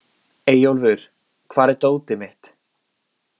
Eyjólfur, hvar er dótið mitt?